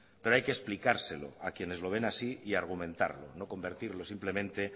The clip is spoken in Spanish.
pero hay que explicárselo a quienes lo ven así y argumentarlo no convertirlo simplemente